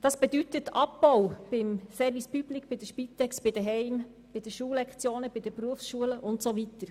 Es geht um einen Abbau beim Service public, bei der Spitex, bei den Heimen, bei der Lektionenzahl in der Volksschule, bei den Berufsschulen und so weiter.